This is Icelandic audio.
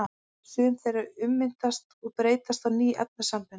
Sum þeirra ummyndast og breytast í ný efnasambönd.